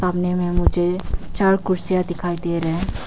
सामने में मुझे चार कुर्सियां दिखाई दे रहे--